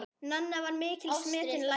Nanna var mikils metinn læknir.